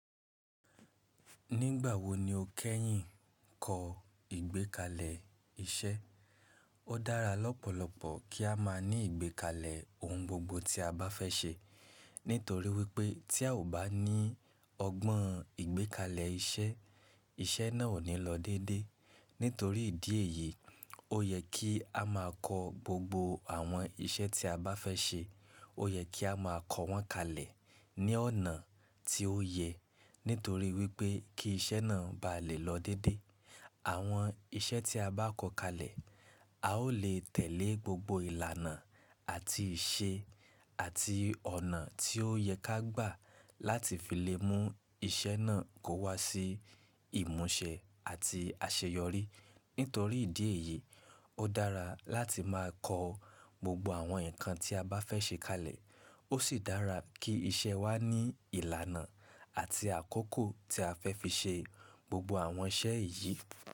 Nígbà wo ni o kẹ́yìn kọ ìgbékalẹ̀ iṣẹ́? Ó dára lọ́pọ̀lọpọ̀ kí a máa ní ìgbékalẹ̀ ohun gbogbo tí a bá fẹ́ ṣe. Nítorí wípé tí a ò bá ní ọgbọ́n ìgbékalẹ̀ iṣẹ́, iṣẹ́ náà ò ní lọ dédé. Nítorí ìdí èyí, ó yẹ kí a máa kọ gbogbo àwọn iṣẹ́ tí a bá fẹ́ ṣe. Ó yẹ kí a máa kọ wọ́n kalẹ̀ ní ọ̀nà tí ó yẹ. Nítorí wípé kí iṣẹ́ náà bá lè lọ dédé. Àwọn iṣẹ́ tí a bá kọ kalẹ̀, a ó lè tẹ̀lé gbogbo ìlànà àti ìṣe àti ọ̀nà tí ó yẹ ká gbà láti fi lè mú iṣẹ́ náà kó wá sí ìmúṣẹ àti àṣeyọrí. Nítorí ìdí èyí, ó dára láti máa kọ gbogbo àwọn nǹkan tí a bá fẹ́ ṣe kalẹ̀. Ó sì dára kí iṣẹ́ wa ní ìlànà àti àkókò tí a fẹ́ fi ṣe gbogbo àwọn iṣẹ́ yìí.